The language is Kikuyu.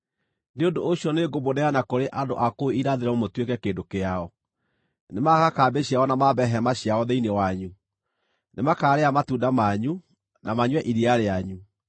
nĩ ũndũ ũcio nĩngũmũneana kũrĩ andũ a kũu irathĩro mũtuĩke kĩndũ kĩao. Nĩmagaaka kambĩ ciikaro ciao na mambe hema ciao, thĩinĩ wanyu; nĩmakaarĩa matunda manyu, na manyue iria rĩanyu.